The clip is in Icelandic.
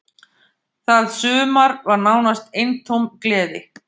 Það sumar var nánast eintóm gleði.